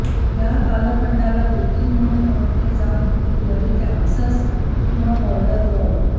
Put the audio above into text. या कालखंडाला देखील म्हणून ओळखले जात होते ब्लडी कॅन्सस किंवा बॉर्डर वॉर